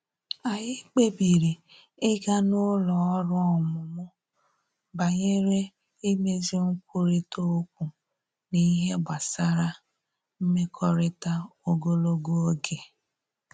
Anyị kpebiri ịga n’ụlọ ọrụ ọmụmụ banyere imezi nkwurịta okwu n’ihe gbasara mmekọrịta ogologo oge